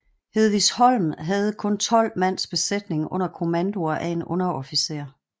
Hedvigsholm havde kun tolv mands besætning under kommandoer af en underofficer